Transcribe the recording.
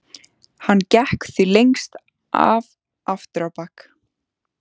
Hann gekk því lengst af aftur á bak.